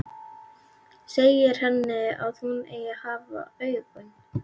Segir henni hvar hún eigi að hafa augun.